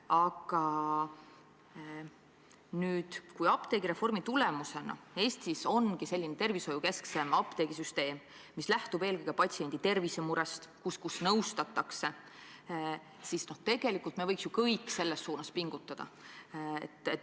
Aga nüüd, kui apteegireformi tulemusena hakkakski Eestis olema selline tervishoiukesksem apteegisüsteem, mis lähtub eelkõige patsiendi tervisemurest ja kus nõustatakse, siis tegelikult võiks me kõik ju selles suunas pingutada.